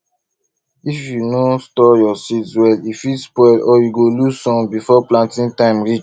if you no store your seeds well e fit spoil or you go lose some before planting time reach